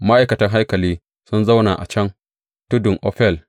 Ma’aikatan haikali sun zauna a kan tudun Ofel.